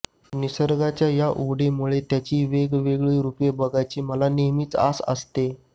निसर्गाच्या या ओढीमुळे त्याची वेगवेगळी रूपे बघायची मला नेहमीच आस असते